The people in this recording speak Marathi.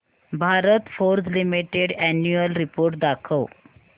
Bharat Forge Limited annual report दाखव